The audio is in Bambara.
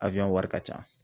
wari ka can.